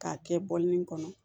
K'a kɛ bɔlini kɔnɔ